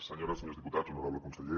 senyores i senyors diputats honorable conseller